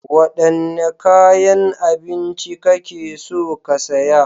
Wadanne kayan abinci kake so ka saya?